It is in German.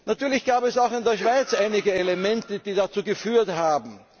Natürlich gab es auch in der Schweiz einige Elemente, die dazu geführt haben.